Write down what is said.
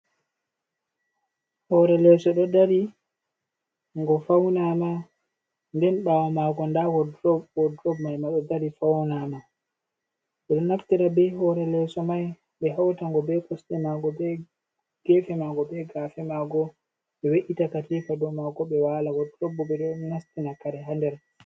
Hore leeso ɗo dari go fauna ma, den ɓawo mago nda wodrop bo, wodrob mai ma ɗo dari faunama, ɓeɗo naftira be hore leeso mai ɓe hauta ngo be kosɗe mago, be gefe mago, be gafe mago, ɓe we’i ta katifa dou mago ɓe wala, wodrob bo ɓeɗo nastinabkare ha nder.